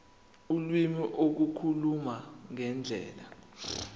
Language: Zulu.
ulimi ukukhuluma ngendlela